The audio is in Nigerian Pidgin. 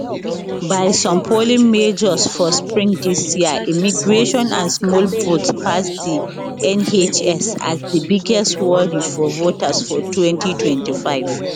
by some polling measures for spring dis year immigration and small boats pass di nhs as di biggest worry for voters for 2025